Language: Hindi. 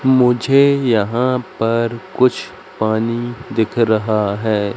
मुझे यहां पर कुछ पानी दिख रहा है।